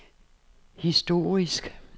historisk